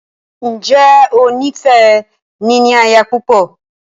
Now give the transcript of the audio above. Ǹjẹ́ o ní fẹ “ níní aya púpọ̀”?